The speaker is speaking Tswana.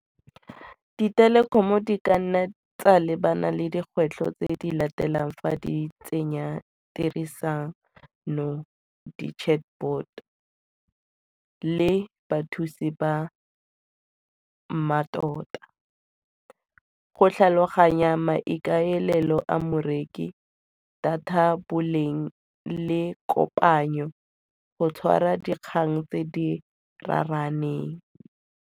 Ditelekomo di ka nna tsa lebana le dikgwetlho tse di latelang fa di tsenya dirisano, di-chatbot le bathusi ba mmatota, go tlhaloganya maikaelelo a morekisi data boleng le kopanya, go tshwara dikgang tse di raraneng.